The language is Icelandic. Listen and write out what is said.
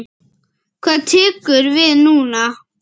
Hvað tekur við núna?